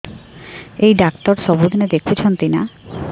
ଏଇ ଡ଼ାକ୍ତର ସବୁଦିନେ ଦେଖୁଛନ୍ତି ନା